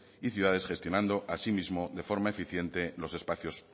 y ciudades gestionando asimismo de forma eficiente los espacios